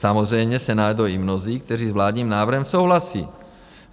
Samozřejmě se najdou i mnozí, kteří s vládním návrhem souhlasí.